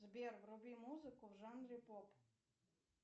сбер вруби музыку в жанре поп